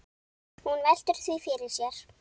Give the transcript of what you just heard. Hann veltir því fyrir sér.